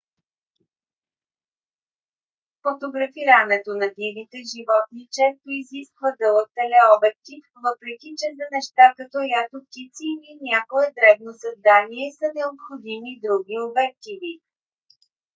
фотографирането на дивите животни често изисква дълъг телеобектив въпреки че за неща като ято птици или някое дребно създание са необходими други обективи